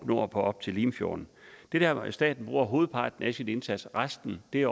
nord op til limfjorden det er der staten gør hovedparten af sin indsats resten er